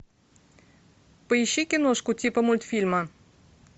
поищи киношку типа мультфильма